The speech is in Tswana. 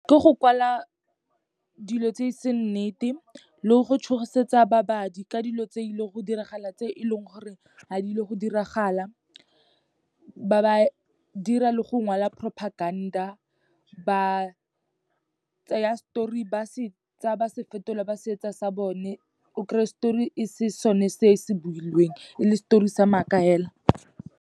Ke go kwala dilo tse e seng nnete, le go tšhošetsa babadi ka dilo tse ileng go diragala, tse e leng gore ga di ile go diragala. Ba ba dira le go ngwala propaganda, ba tseya story ba se tsa ba se fetola, ba se etsa sa bone, o kry-e story e se sone se se builweng e le story sa maaka fela.